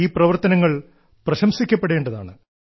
ഈ പ്രവർത്തനങ്ങൾ പ്രശംസിക്കപ്പെടേണ്ടതാണ്